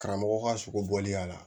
Karamɔgɔ ka sogo bɔli y'a la